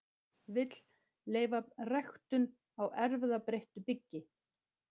Vill leyfa ræktun á erfðabreyttu byggi